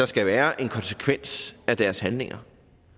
skal være en konsekvens af deres handlinger